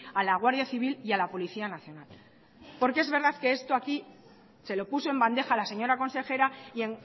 a la guardia civil y a la policía nacional porque es verdad que esto aquí se lo puso en bandeja la señora consejera y